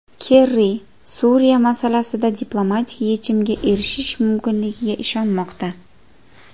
Kerri Suriya masalasida diplomatik yechimga erishish mumkinligiga ishonmoqda.